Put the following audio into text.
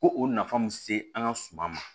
Ko o nafa min se an ka suma ma